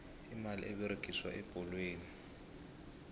imali eberegiswa ebholweni